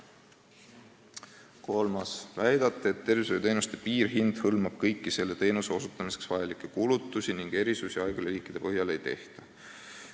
Kolmas küsimus: "Väidate, et tervishoiuteenuste piirhind hõlmab kõiki selle teenuse osutamiseks vajalikke kulutusi ning erisusi haiglaliikide põhjal ei tehta.